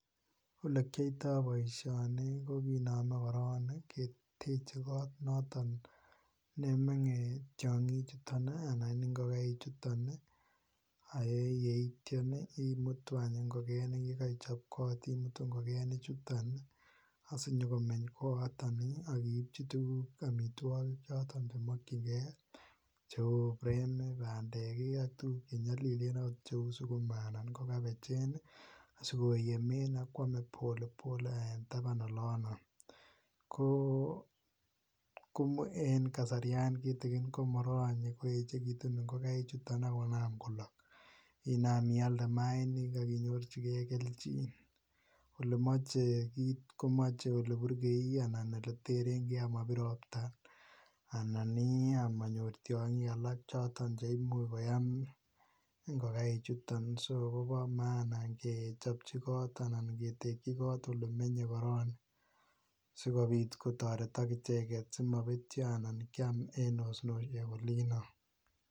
Ole kiyoito boishoni kokinome korong keteche kot noton nemenge tyokin chuton nii anan ingokaik chuton Nii ak yeityo imutu anch ingokenik yekoichob kot imutu ingokenik chuton nii sinyokomech kooton nii akiipchi tukuk omitwokik choton chemokin gee cheu peek kii, pandek kii ak tukuk chenyolilen ot cheu sukuma anan ko kabechenii asikoyemen ak kwome polepole en taban olono, koo en kasaryan kitikin ko moronye koyechekitun ingokaik chuton ak konam kolok inam Ialde mainik ak inyorchigee keljin. Olemoche kii komoche ole burkei ole terengee asikomobir ropta anan nii omonyor tyonkik alak che imuch koyam ingokaik chuton so mie ketekin kot anan olemenye korong sikopit kotoretok icheket sikopit komopetyo anan kiam en onsosiek olino.